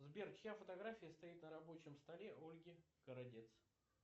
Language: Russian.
сбер чья фотография стоит на рабочем столе ольги городец